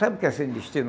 Sabe o que é sem destino?